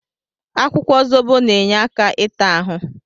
Akwụkwọ zobo na-enye aka ịta ahụ.